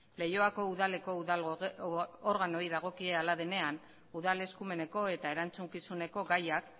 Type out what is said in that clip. leioako udaleko udal organoei dagokie hala denean udal eskumeneko eta erantzukizuneko gaiak